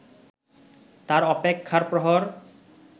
তার অপেক্ষার প্রহর